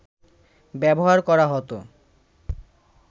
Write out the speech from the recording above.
ব্যবহার করা হত